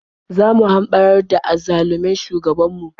Zo mu hamɓarar da azzalumin shugabanmu.